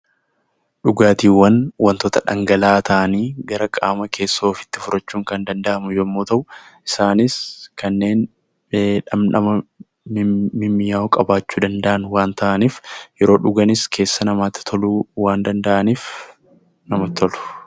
Dhugaatiiwwan waantota dhangala'aa ta'anii gara qaama keessoo ofiitti fudhachuun Kan danda'amu yemmuu ta'u, isaanis Kanneen dhamdhama mimmi'aawwoo qabaachuu danda'an waan ta'aniif yeroo dhuganis keessa namaatti toluu waan danda'aniif namatti tolu.